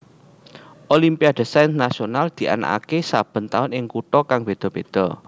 Olimpiade Sains Nasional dianakake saben taun ing kutha kang beda beda